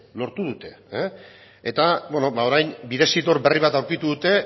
lortu dute eta beno ba orain bidezidor berri bat aurkitu dute